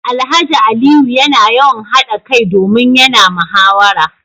Alhaji Aliyu yana yawan hada kai domin yana muhawara